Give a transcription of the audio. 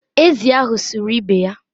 ezì ahụ sụrụ ibe ya